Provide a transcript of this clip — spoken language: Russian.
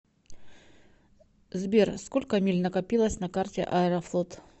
сбер сколько миль накопилось на карте аэрофлот